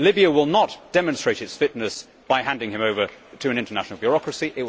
Libya will not demonstrate its fitness by handing him over to an international bureaucracy.